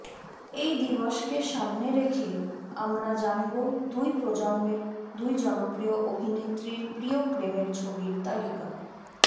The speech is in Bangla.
এই দিবসকে সামনে রেখে আমরা জানব দুই প্রজন্মের দুই জনপ্রিয় অভিনেত্রীর প্রিয় প্রেমের ছবির তালিকা